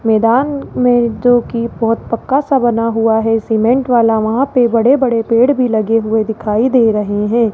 मैदान में जोकि बहोत पक्का सा बना हुआ है सीमेंट वाला वहां पे बड़े-बड़े पेड़ भी लगे हुए दिखाई दे रहे हैं।